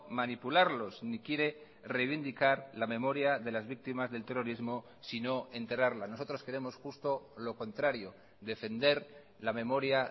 manipularlos ni quiere reivindicar la memoria de las víctimas del terrorismo sino enterrarla nosotros queremos justo lo contrario defender la memoria